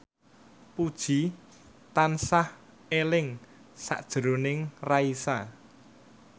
Puji tansah eling sakjroning Raisa